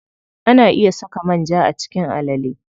Ana iya saka manja a cikin alale.